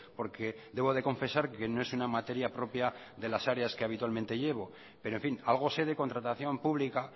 porque debo de confesar que no es una materia propia de las áreas que habitualmente llevo pero en fin algo sé de contratación pública